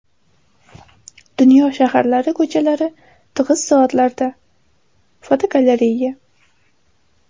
Dunyo shaharlari ko‘chalari tig‘iz soatlarda (fotogalereya).